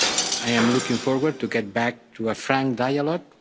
I am looking forward to getting back to a frank dialogue.